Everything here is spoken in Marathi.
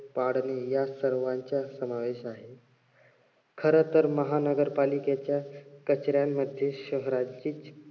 पाडणे या सर्वांचा समावेश आहे. खरं तर महानगरपालिकेच्या कचऱ्यांमध्ये शहराचीच